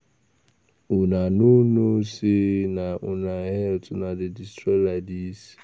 Una no know say na una health una dey destroy like dis